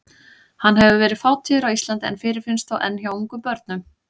Hann hefur verið fátíður á Íslandi en fyrirfinnst þó enn hjá ungum börnum.